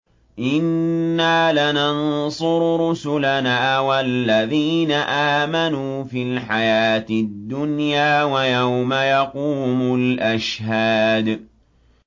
إِنَّا لَنَنصُرُ رُسُلَنَا وَالَّذِينَ آمَنُوا فِي الْحَيَاةِ الدُّنْيَا وَيَوْمَ يَقُومُ الْأَشْهَادُ